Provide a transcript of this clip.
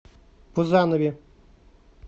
пузанове